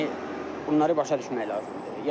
Yəni bunları başa düşmək lazımdır.